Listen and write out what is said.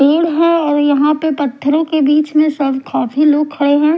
भीड़ है और यहां पे पत्थरों के बीच में सब काफी सारे लोग खड़े हैं।